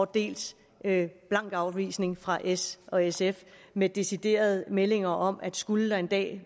dels en blank afvisning fra s og sf med deciderede meldinger om at skulle der en dag